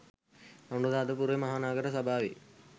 අනුරාධපුර මහ නගර සභාවේ